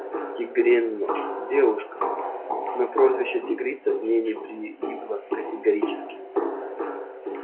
тигрёнок девушка но прозвище тигрица к ней не прилипло категорически